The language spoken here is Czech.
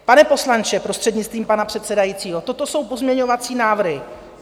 Pane poslanče, prostřednictvím pana předsedajícího, toto jsou pozměňovací návrhy.